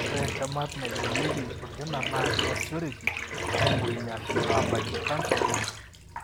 ore entemat naigorieki olkina na kiasishoreki aingorunyie ashu abaakie canser olkina.